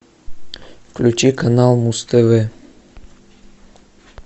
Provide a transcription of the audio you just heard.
включи канал муз тв